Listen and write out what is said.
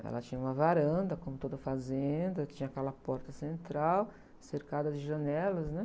Ela tinha uma varanda, como toda fazenda, tinha aquela porta central cercada de janelas, né?